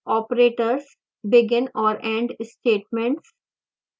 operators